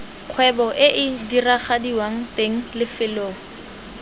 kgwebo ee diragadiwang teng lefelo